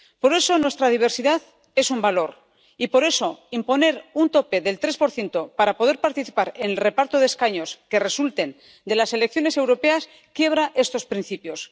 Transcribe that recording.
Por eso, nuestra diversidad es un valor y, por eso, imponer un tope del 3 para poder participar en el reparto de escaños que resulten de las elecciones europeas quiebra estos principios.